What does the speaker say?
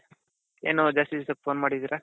ಏನು ಜಾಸ್ತಿ ದಿವಸದ phone ಮಾಡಿದ್ದೀರಾ?